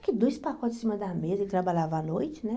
Aqui, dois pacotes em cima da mesa, ele trabalhava à noite, né?